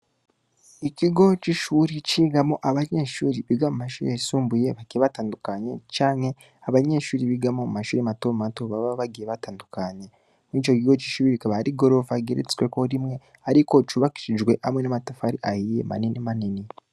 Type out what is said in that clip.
Ikigo c'ishure cigamwo abanyeshure biga mu mashure yisumbuye bagiye batandukanye canke abanyeshure bigamwo mu mashure matomato baba bagiye batandukanye. Muri ico kigo c'ishure hakaba hari igorofa igeretsweko rimwe ariko cubakishijweko hamwe n'amatafari ahiye manini manini.